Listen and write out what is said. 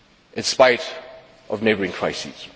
in spite of neighbouring crises.